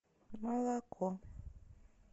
молоко